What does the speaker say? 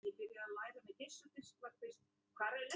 hér er síða úr tímaritinu